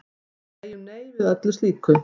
Við segjum nei við slíku.